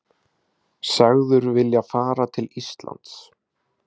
Sagður vilja fara til Íslands